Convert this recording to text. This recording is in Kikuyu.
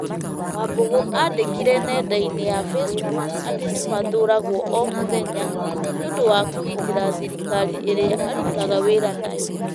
Wambũgũ andĩkire nenda-inĩ ya Facebook atĩ nĩ mathũragwo o mũthenya nĩ ũndũ wa kũgitĩra thirikari ĩrĩa arutaga wĩra nayo,